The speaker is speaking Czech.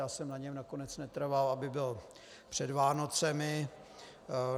Já jsem na něm nakonec netrval, aby byl před Vánocemi.